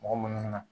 Mɔgɔ munnu na